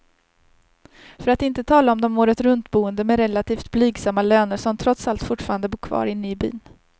För att inte tala om de åretruntboende med relativt blygsamma löner, som trots allt fortfarande bor kvar inne i byn.